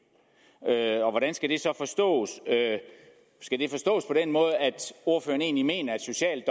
er et problem hvordan skal det så forstås skal det forstås på den måde at ordføreren egentlig mener at social